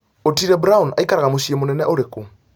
otile brown aikaraga mũciĩmũnene ũrĩku